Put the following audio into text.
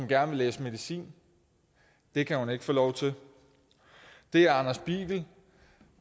gerne læse medicin det kan hun ikke få lov til der er anders biegel